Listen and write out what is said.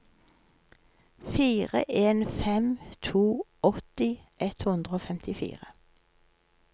fire en fem to åtti ett hundre og femtifire